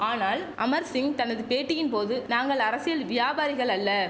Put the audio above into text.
ஆனால் அமர்சிங் தனது பேட்டியின் போது நாங்கள் அரசியல் வியாபாரிகள் அல்ல